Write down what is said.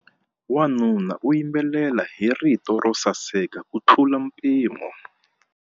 Wanuna u yimbelela hi rito ro saseka kutlula mpimo.